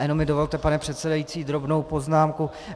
A jenom mi dovolte, pane předsedající, drobnou poznámku.